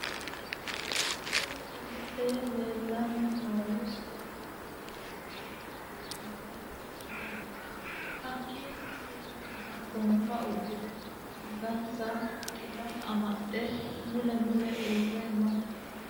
Kunni illete leelani noohu sidàamu budi uduune uddire noo meenttoti hakiino sa'eena gonfa uddire angasa xila amaxe mule mule uure no.